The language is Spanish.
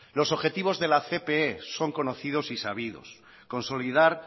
los objetivos de la cpe son conocidos y sabidos consolidar